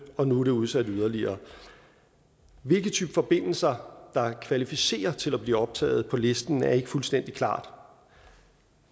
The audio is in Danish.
og nu er det udsat yderligere hvilke typer forbindelser der kvalificerer til at blive optaget på listen er ikke fuldstændig klart